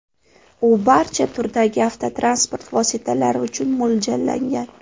U barcha turdagi avtotransport vositalari uchun mo‘ljallangan.